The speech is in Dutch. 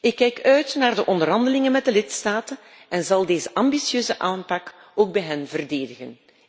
Ik kijk uit naar de onderhandelingen met de lidstaten en zal deze ambitieuze aanpak ook bij hen verdedigen.